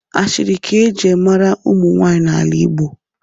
Ashịrị ka-eji mara ụmụ nwaanyị n'ala igbo